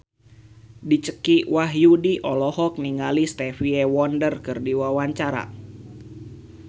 Dicky Wahyudi olohok ningali Stevie Wonder keur diwawancara